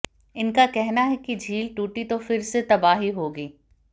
इनका कहना है कि झील टूटी तो फिर से तबाही होगी